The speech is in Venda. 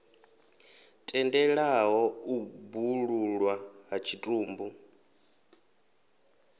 tendelaho u bwululwa ha tshitumbu